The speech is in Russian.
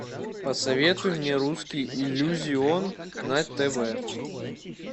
посоветуй мне русский иллюзион на тв